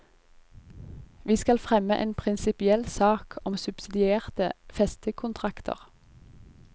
Vi skal fremme en prinsipiell sak om subsidierte festekontrakter.